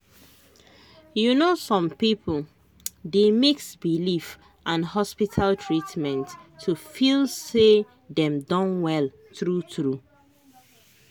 you know some people dey mix belief and hospital treatment to feel say dem don well true true.